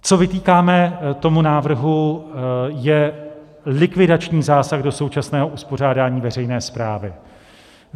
Co vytýkáme tomu návrhu, je likvidační zásah do současného uspořádání veřejné správy.